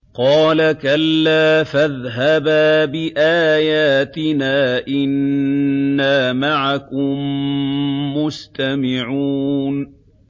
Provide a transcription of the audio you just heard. قَالَ كَلَّا ۖ فَاذْهَبَا بِآيَاتِنَا ۖ إِنَّا مَعَكُم مُّسْتَمِعُونَ